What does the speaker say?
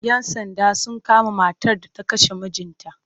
Yan Sanda sun kama matar da ta kashe mijinta